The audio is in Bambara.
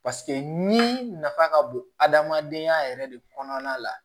paseke ni nafa ka bon adamadenya yɛrɛ de kɔnɔna la